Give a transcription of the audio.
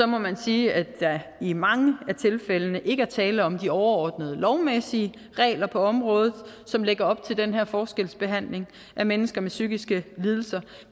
må jeg sige at der i mange tilfælde ikke er tale om at de overordnede lovmæssige regler på området som lægger op til den her forskelsbehandling af mennesker med psykiske lidelser